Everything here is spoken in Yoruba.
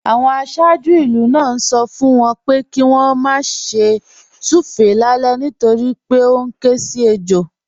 Àwọn aṣáájú ìlú náà ń sọ fún wọn pé kí wọ́n má ṣe súfèé lálẹ́ nítorí pé ó ń ké sí ejò